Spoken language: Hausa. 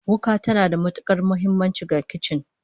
Wuka tana da matukar muhimmanci ga kicin